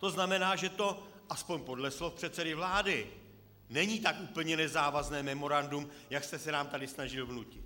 To znamená, že to, aspoň podle slov předsedy vlády, není tak úplně nezávazné memorandum, jak jste se nám tady snažil vnutit.